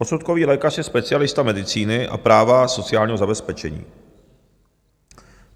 Posudkový lékař je specialista medicíny a práva sociálního zabezpečení.